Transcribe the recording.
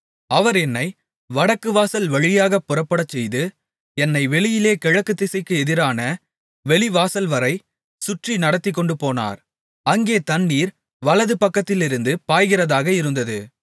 அவர் என்னை வடக்கு வாசல் வழியாகப் புறப்படச்செய்து என்னை வெளியிலே கிழக்கு திசைக்கு எதிரான வெளிவாசல்வரை சுற்றி நடத்திக்கொண்டுபோனார் அங்கே தண்ணீர் வலதுபக்கத்திலிருந்து பாய்கிறதாக இருந்தது